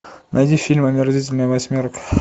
найди фильм омерзительная восьмерка